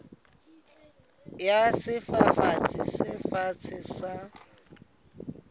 ya sefafatsi se fatshe sa